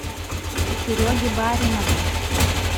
сереге баринову